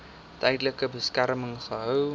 tydelike beskerming gehou